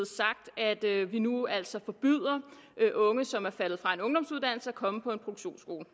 det er at vi nu altså forbyder unge som er faldet fra en ungdomsuddannelse at komme på en produktionsskole